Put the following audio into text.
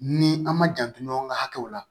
Ni an ma janto ɲɔgɔn ka hakɛw la